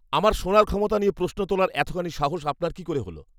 আমার শোনার ক্ষমতা নিয়ে প্রশ্ন তোলার এতখানি সাহস আপনার কী করে হল?